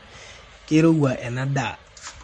keirowua ena daa